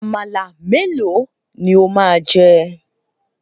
Àmàlà melo ni ó máa jẹ?